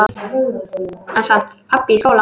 En samt- pabbi í skóla?